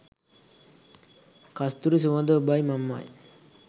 කස්තුරි සුවඳ ඔබයි මමයි.